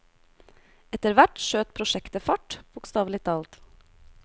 Etterhvert skjøt prosjektet fart, bokstavelig talt.